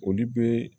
Olu be